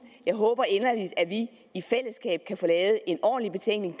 jeg håber inderligt at vi i fællesskab kan få lavet en ordentlig betænkning